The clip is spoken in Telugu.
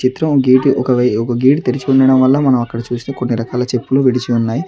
చిత్రం గేట్ ఒక వేయ్ గేటు తెరిచి ఉండడం వల్ల మనం అక్కడ చూస్తే కొన్ని రకాల చెట్లు విడిచి ఉన్నాయి.